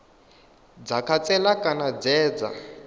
dza khantsela kana dze dza